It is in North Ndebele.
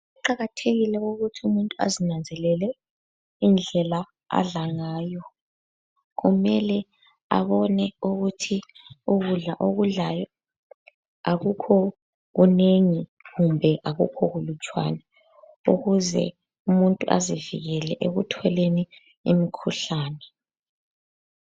Kuqakathekile ukuthi umuntu azinanzelele indlela adla ngayo. Kumele abone ukuthi ukudla okudlayo akukho kunengi kumbe akukho kulutshwane, ukuze umuntu azivikele ekutholeni imkhuhlane.